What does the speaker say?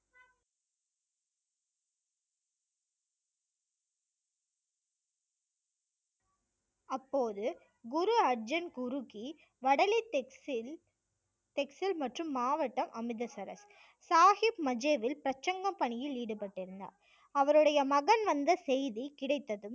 அப்போது குரு அர்ஜன் குருகி வடலி டெக்ஸில் மற்றும் மாவட்டம் அமிர்தசரஸ் சாஹிப் மஜேவில் பிரசங்க பணியில் ஈடுபட்டிருந்தார் அவருடைய மகன் வந்த செய்தி கிடைத்ததும்